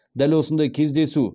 дәл осындай кездесу